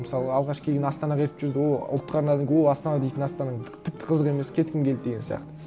мысалы алғаш келген астанаға ертіп жүрді о ұлттық арнадан көріп о астана дейтін астанаң тіпті қызық емес кеткім келді деген сияқты